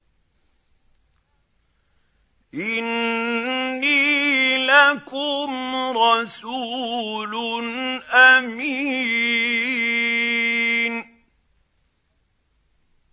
إِنِّي لَكُمْ رَسُولٌ أَمِينٌ